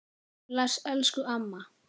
Bless, elsku amma.